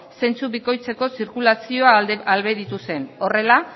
zentzu bikoitzeko zirkulazioa ahalbidetu zen horrela